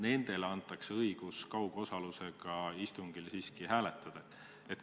Kas nendele antakse õigus kaugosalusega istungil hääletada?